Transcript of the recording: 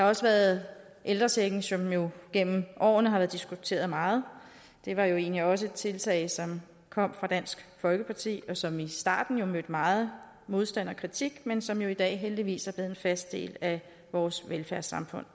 også været ældrechecken som jo gennem årene har været diskuteret meget det var jo egentlig også et tiltag som kom fra dansk folkeparti og som i starten mødte meget modstand og kritik men som i dag heldigvis er blevet en fast del af vores velfærdssamfund